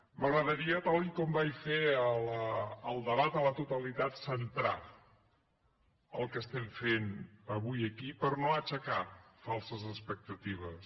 m’agradaria tal com vaig fer al debat a la totalitat cen·trar el que estem fent avui aquí per no aixecar falses expectatives